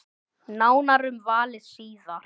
Nánar um valið síðar.